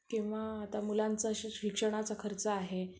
किंवा आता मुलांच्या शिक्षणाचा खर्च आहे